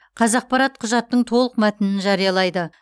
қазақпарат құжаттың толық мәтінін жариялайды